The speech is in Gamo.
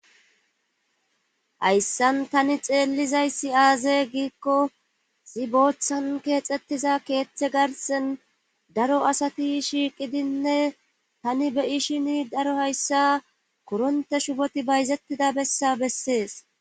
hayssan tani xeellizayssi aaze giikko zi booththan keexxettiza keeththe garsen daro asati shiiqidinne tani beyishini daro hayssa koronte shuboti bayzettida bessa bessees